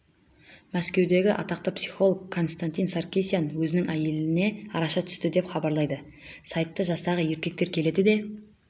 мәскеудегі атақты психолог константин саркисян өзінің әйеліне араша түсті деп хабарлайды сайты жастағы еркектер келеді де